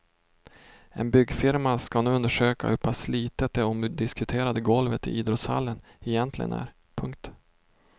En byggfirma ska nu undersöka hur pass slitet det omdiskuterade golvet i idrottshallen egentligen är. punkt